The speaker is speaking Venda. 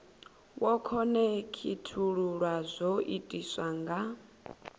wo khonekhithululwa zwo itiswa nga